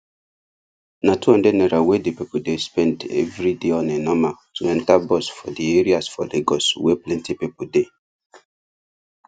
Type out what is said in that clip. na 200 naira wey dey pipu dey spend every day on a normal to enter bus for di areas for lagos wey plenty pipu dey